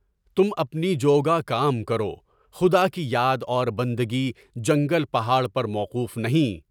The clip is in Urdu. تم اپنی جو گا کام کرو، خدا کی یاد اور بندگی جنگل پہاڑ پر موقوف نہیں۔